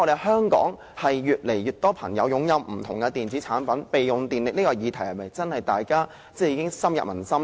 香港越來越多人擁有不同的電子產品，我不敢說備用狀態能耗的議題已深入民心。